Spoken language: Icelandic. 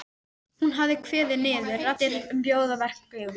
Hún hafi kveðið niður raddir um að bjóða verkið út.